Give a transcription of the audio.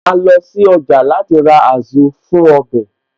Màá lọ sí ọjà láti ra Azu fún ọbẹ̀